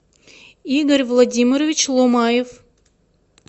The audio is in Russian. игорь владимирович ломаев